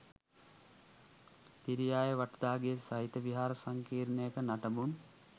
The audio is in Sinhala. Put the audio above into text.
තිරියාය වටදාගේ සහිත විහාර සංකීර්ණයක නටබුන්